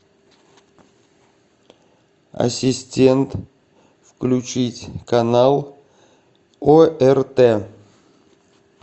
ассистент включить канал орт